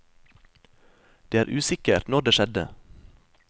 Det er usikkert når det skjedde.